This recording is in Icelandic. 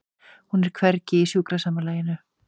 Hún er hvergi í sjúkrasamlagi.